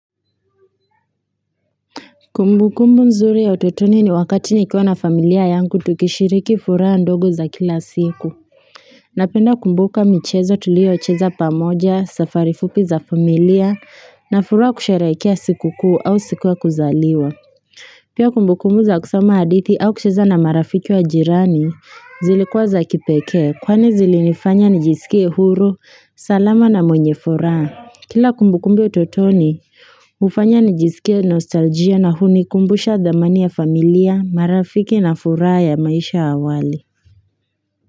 Kumbu kumbu nzuri ya utotoni ni wakati nikiwa na familia yangu tukishiriki furaha ndogo za kila siku. Napenda kumbuka michezo tuliyocheza pamoja safari fupi za familia na furaha kusherehekea siku kuu au siku ya kuzaliwa. Pia kumbu kumbu za kusoma hadithi au kucheza na marafiki wa jirani zilikuwa za kipeke kwani zilinifanya nijisikie huru, salama na mwenye furaha. Kila kumbukumbu ya utotoni, hufanya nijisikie nostalgia na hunikumbusha dhamani ya familia, marafiki na furaha ya maisha ya awali.